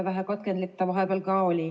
Vähe katkendlik see vahepeal ka oli.